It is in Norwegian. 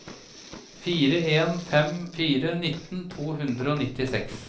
fire en fem fire nitten to hundre og nittiseks